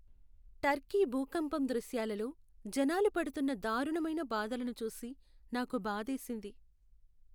Turkey భూకంపం దృశ్యాలలో జనాలు పడుతున్న దారుణమైన బాధలను చూసి నాకు బాధేసింది.